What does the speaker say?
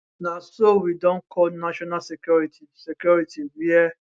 na so we don call national security security wia